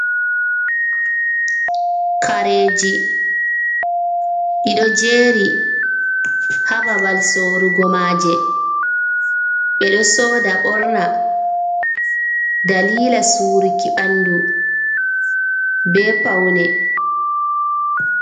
Kareji, ɗi ɗo jeeri ha babal sorugo maaje, ɓe ɗo sooda ɓorna daliila suuruki ɓandu, be pawne.